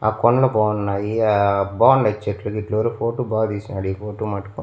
ఆ కొండ బాగున్నాయి ఆ బాగున్నాయి చెట్లు గిట్లు ఎవరో ఫోటో బాగా తీస్నాడు ఈ ఫోటో మటుకు.